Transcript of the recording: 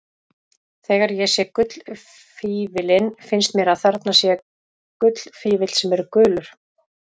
Þegar ég sé gullfífillinn finnst mér að þarna sé gullfífill sem er gulur.